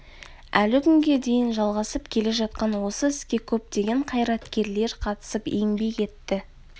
әлі күнге дейін жалғасып келе жатқан осы іске көптеген қайраткерлер қатысып еңбек етті